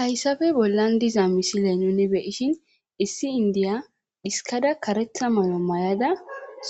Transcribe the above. hayssafe bollan diza misile nuni beishin issi indiya iskada karetha malo may7ada